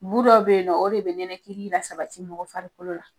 Bu dɔ be yen nɔ, o de be nɛnɛ kili la sabati mɔgɔ farikolo la.